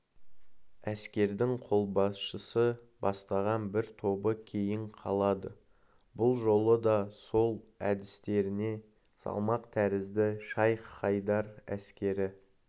әскердің қолбасшысы бастаған бір тобы кейін қалады бұл жолы да сол әдістеріне салмақ тәрізді шайх-хайдар әскері